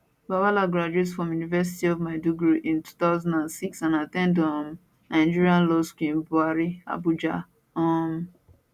bwala graduate from university of maiduguri in 2006 and at ten d um nigerian law school in bwari abuja um